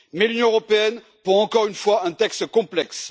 Mais l'Union européenne pond, encore une fois, un texte complexe.